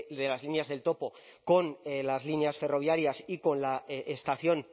de las líneas del topo con las líneas ferroviarias y con la estación